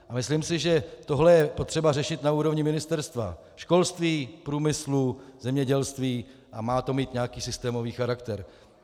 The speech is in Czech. A myslím si, že tohle je třeba řešit na úrovni ministerstev školství, průmyslu, zemědělství a má to mít nějaký systémový charakter.